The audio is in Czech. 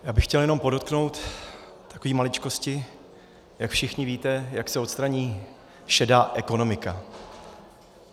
Já bych chtěl jenom podotknout takové maličkosti, jak všichni víte, jak se odstraní šedá ekonomika.